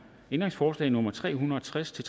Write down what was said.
ændringsforslag nummer tre hundrede og tres til